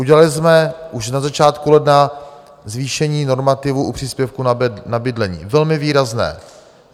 Udělali jsme už na začátku ledna zvýšení normativu u příspěvku na bydlení, velmi výrazné.